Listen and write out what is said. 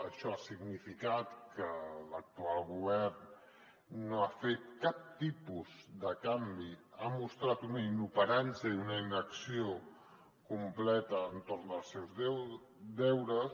això ha significat que l’actual govern no ha fet cap tipus de canvi ha mostrat un inoperància i una inacció completa entorn dels seus deures